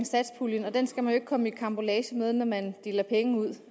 satspuljen og den skal man jo ikke komme i karambolage med når man deler penge ud